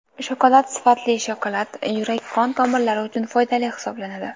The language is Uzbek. Shokolad Sifatli shokolad yurak-qon tomirlari uchun foydali hisoblanadi.